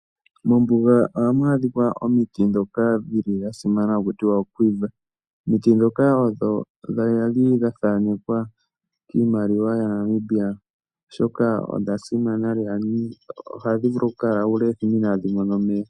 Mombuga ohamu adhikwa omiti dhoka dhili dha simana haku tiwa oQuiver. Omiti dhoka odho dhili dha thanekwa kiimaliwa ya Namibia oshoka odha simana lela, ohadhi vulu okukala uule wethimbo inadhi mona omeya.